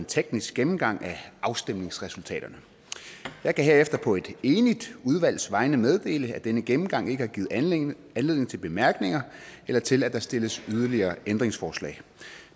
teknisk gennemgang af afstemningsresultaterne jeg kan herefter på et enigt udvalgs vegne meddele at denne gennemgang ikke har givet anledning anledning til bemærkninger eller til at der stilles yderligere ændringsforslag